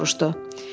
Qlenarvan soruşdu.